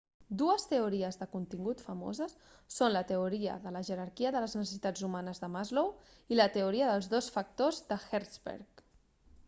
dues teories de contingut famoses són la teoria de la jerarquia de les necessitats humanes de maslow i la teoria dels dos factors de hertzberg